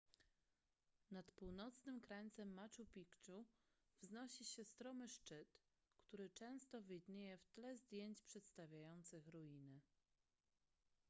nad północnym krańcem machu picchu wznosi się stromy szczyt który często widnieje w tle zdjęć przedstawiających ruiny